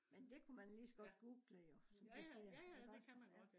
men det kunne man lige så godt google jo som du siger iggås